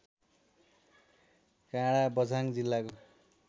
काडाँ बझाङ जिल्लाको